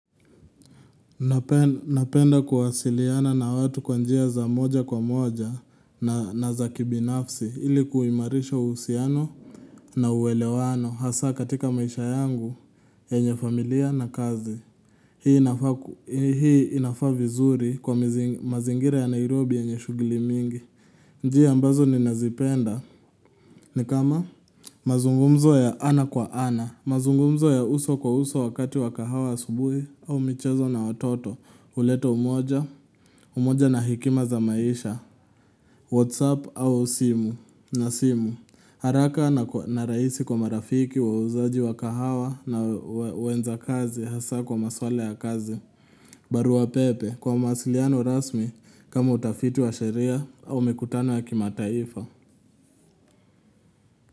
Napenda kuwasiliana na watu kwa njia za moja kwa moja na za kibinafsi ili kuimarisha uhusiano na uwelewano hasa katika maisha yangu yenye familia na kazi. Hii inafaa vizuri kwa mazingira ya Nairobi yenye shughuli mingi. Njia ambazo ni nazipenda ni kama mazungumzo ya ana kwa ana. Mazungumzo ya uso kwa uso wakati wakahawa asubui au michezo na watoto huleta umoja, umoja na hekima za maisha Whatsapp au simu na simu haraka na rahisi kwa marafiki wauzaji wa kahawa na uenda kazi hasa kwa maswala ya kazi barua pepe kwa mawasiliano rasmi kama utafiti wa sheria au mikutano ya kimataifa.